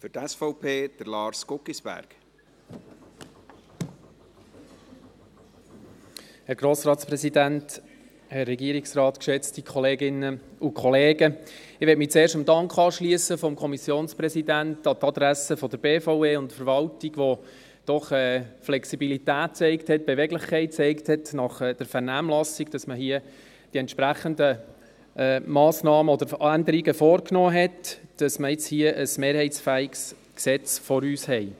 Ich möchte mich zuerst dem Dank des Kommissionspräsidenten an die Adresse der BVE und der Verwaltung anschliessen, die nach der Vernehmlassung doch Flexibilität und Beweglichkeit gezeigt haben, sodass man hier die entsprechenden Massnahmen und Änderungen vorgenommen hat und wir ein mehrheitsfähiges Gesetz vor uns haben.